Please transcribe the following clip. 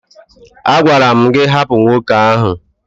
A gwara m gị hapụ nwoke ahụ!